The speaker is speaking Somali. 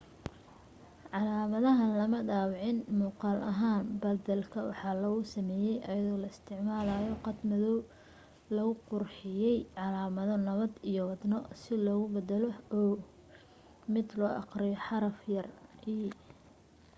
calaamadahan lama dhaawicin muuqal ahaan badalka waxaa lagu sameye ayadoo la isticmalayo qad madow lagu qurxiye calaamado nabad iyo wadno si loogu badalo o mid loo aqriyo xaraf yare e